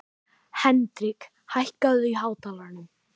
Hendrik, hækkaðu í hátalaranum.